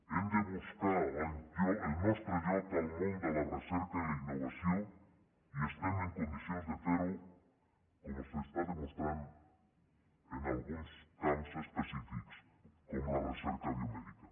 hem de buscar el nostre lloc al món de la recerca i la innovació i estem en condicions de fer ho com s’està demostrant en alguns camps específics com la recerca biomèdica